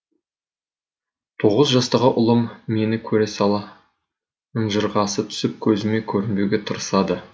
тоғыз жастағы ұлым мені көре сала ынжырғасы түсіп көзіме көрінбеуге тырысады